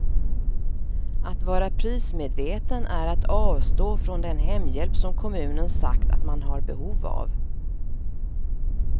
Att vara prismedveten är att avstå från den hemhjälp som kommunen sagt att man har behov av.